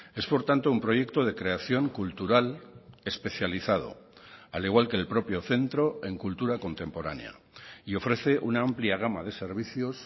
es por tanto un proyecto de creación cultural especializado al igual que el propio centro en cultura contemporánea y ofrece una amplia gama de servicios